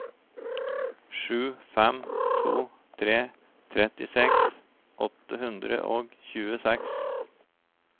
sju fem to tre trettiseks åtte hundre og tjueseks